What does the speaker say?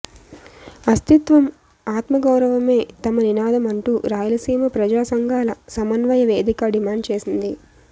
అస్థిత్వం ఆత్మగౌరవమే తమ నినాదం అంటూ రాయలసీమ ప్రజా సంఘాల సమన్వయ వేదిక డిమాండ్ చేసింది